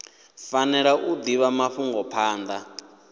fanela u divha mafhungo phanda